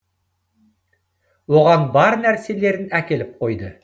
оған бар нәрселерін әкеліп қойды